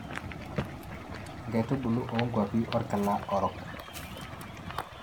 inkaitubulu oo nkuapi orkila orok.